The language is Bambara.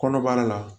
Kɔnɔbara la